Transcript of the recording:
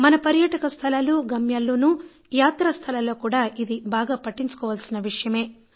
మన పర్యాటక స్థలాలు గమ్యాల్లో యాత్రా స్థలాల్లో కూడా ఇది బాగా పట్టించుకోవలసిన విషయమే